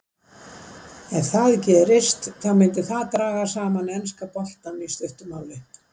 Ef það gerist þá myndi það draga saman enska boltann í stuttu máli.